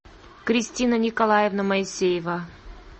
кристина николаевна моисеева